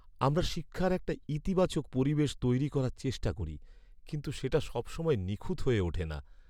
আমরা শিক্ষার একটা ইতিবাচক পরিবেশ তৈরি করার চেষ্টা করি, কিন্তু সেটা সবসময় নিখুঁত হয়ে ওঠে না।